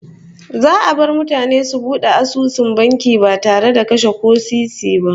Za'a bar mutane su bude asusun banki ba tare da kase ko sisi ba